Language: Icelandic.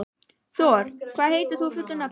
Thor, hvað heitir þú fullu nafni?